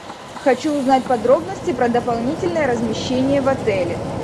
хочу узнать подробности про дополнительное размещение в отеле